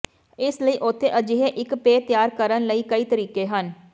ਇਸ ਲਈ ਉੱਥੇ ਅਜਿਹੇ ਇੱਕ ਪੇਅ ਤਿਆਰ ਕਰਨ ਲਈ ਕਈ ਤਰੀਕੇ ਹਨ